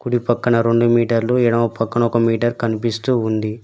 కుడి పక్కన రొండు మీటర్లు ఎడమ పక్కన ఒక మీటర్ కనిపిస్తూ ఉంది.